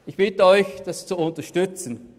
Ich bitte Sie, dies zu unterstützen.